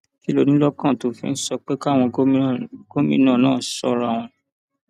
kí ló ní lọkàn tó fi ń sọ pé káwọn gómìnà náà ṣọra wọn